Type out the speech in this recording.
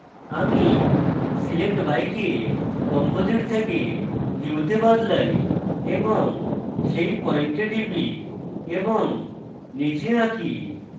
আমি select by কে composite থেকে hue তে বদলাই এবং সেই পয়েন্টে টিপি এবং নীচে আঁকি